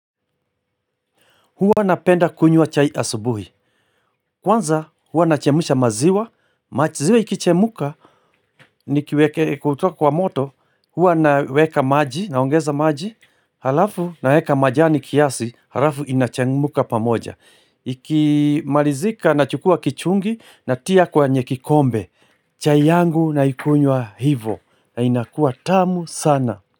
Huwa napenda kunywa chai asubuhi. Kwanza huwa nachemsha maziwa. Maziwa ikichemka kutoka kwa moto. Huwa naweka maji naongeza maji. Halafu naweka majani kiasi. Halafu inachemka pamoja. Ikimalizika na chukua kichungi natia kwenye kikombe. Chai yangu naikunywa hivo na inakua tamu sana.